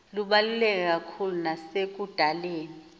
lubaluleke kakhulu nasekudaleni